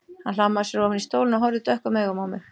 Hann hlammaði sér ofan í stólinn og horfði dökkum augum á mig.